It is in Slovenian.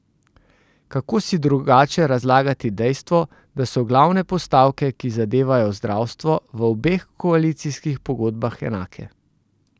Kako si drugače razlagati dejstvo, da so glavne postavke, ki zadevajo zdravstvo, v obeh koalicijskih pogodbah enake?